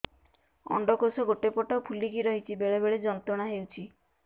ଅଣ୍ଡକୋଷ ଗୋଟେ ପଟ ଫୁଲିକି ରହଛି ବେଳେ ବେଳେ ଯନ୍ତ୍ରଣା ହେଉଛି